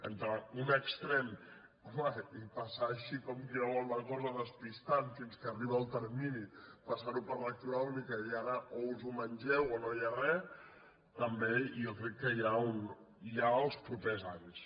entre un extrem i passar així com qui no vol la cosa despis·tant fins que arriba el termini passar·ho per lectura única i ara o us ho mengeu o no hi ha res també jo crec que hi ha els propers anys